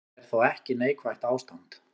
En þetta er þó ekki neikvætt ástand.